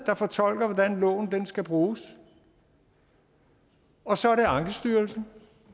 der fortolker hvordan loven skal bruges og så er det ankestyrelsen